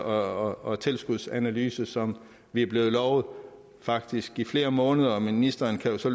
og og tilskudsanalyse som vi er blevet lovet faktisk i flere måneder ministeren kan jo så